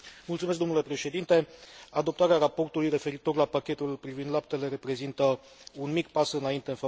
Adoptarea raportului referitor la pachetul privind laptele reprezintă un mic pas înainte în favoarea crescătorilor de animale.